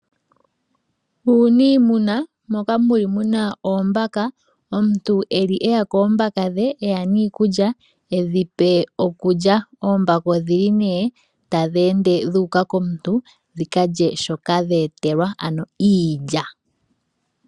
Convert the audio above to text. Uniimuna moka muli muna oombaka, omuntu eli eya koombaka dhe eya niikulya edhipe okulya. Oombaka odhili nee tadhi ende dhu uka komuntu dhika lye shoka dhe etelwa ano iilya.